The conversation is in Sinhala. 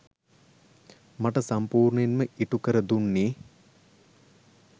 මට සම්පූර්ණයෙන්ම ඉටු කර දුන්නේ